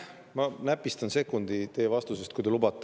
Ma näpistan sekundi teie vastusest, kui te lubate.